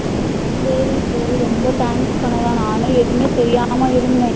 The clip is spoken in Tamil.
சரி சரி ரொம்ப thanks கனகா நானே எதுவுமே தெரியாமா இருந்த